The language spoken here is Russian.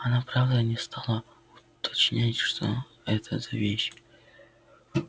оно правда не стало уточнять что это за вещь